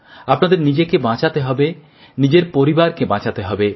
আপনাদের নিজেকে বাঁচতে হবে নিজের পরিবারকে বাঁচাতে হবে